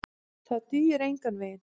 Það dugi engan veginn.